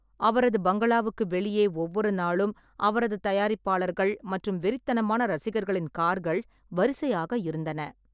அவரது பங்களாவுக்கு வெளியே ஒவ்வொரு நாளும் அவரது தயாரிப்பாளர்கள் மற்றும் வெறித்தனமான ரசிகர்களின் கார்கள் வரிசையாக இருந்தன.